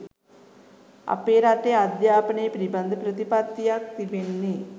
අපේ රටේ අධ්‍යාපනය පිළිබඳ ප්‍රතිපත්තියක් තිබෙන්නේ.